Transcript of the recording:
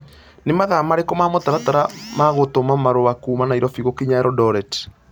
nĩ mathaa marĩkũ ma mũtaratara ma gũtũma marũa kuuma Nairobi gũkinya eldoret